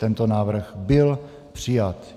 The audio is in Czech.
Tento návrh byl přijat.